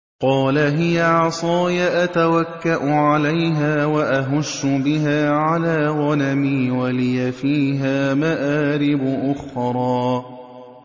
قَالَ هِيَ عَصَايَ أَتَوَكَّأُ عَلَيْهَا وَأَهُشُّ بِهَا عَلَىٰ غَنَمِي وَلِيَ فِيهَا مَآرِبُ أُخْرَىٰ